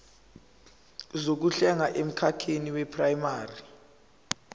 zokuhlenga emkhakheni weprayimari